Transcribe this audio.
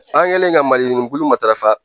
An kɛlen ka malibulu matarafa